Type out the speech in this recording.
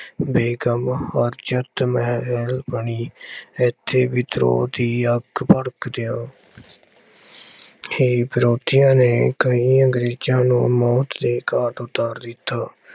ਬੇਗਮ ਹਰਜਿਤ ਮੇਹਰ ਬਣੀ। ਇੱਥੇ ਵਿਦਰੋਹ ਦੀ ਅੱਗ ਭੜਕਦਿਆਂ ਹੀ ਵਿਰੋਧੀਆਂ ਨੇ ਕਈ ਅੰਗਰੇਜ਼ਾਂ ਨੂੰ ਮੌਤ ਦੇ ਘਾਟ ਉਤਾਰ ਦਿੱਤਾ।